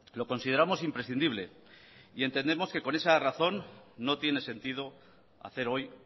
lo consideramos imprescindible y entendemos que por esa razón no tiene sentido hacer hoy